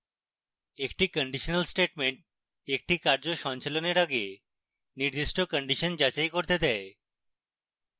action conditional statement action কার্য সঞ্চালনের আগে নির্দিষ্ট condition যাচাই করতে দেয়